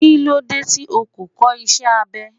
Kí ló dé tí o ò kọ́ iṣé abẹ?